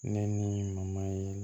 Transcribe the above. Ne ni ye